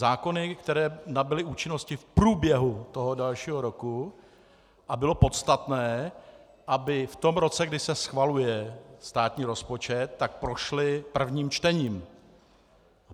Zákony, které nabyly účinnosti v průběhu toho dalšího roku a bylo podstatné, aby v tom roce, kdy se schvaluje státní rozpočet, tak prošly prvním čtením.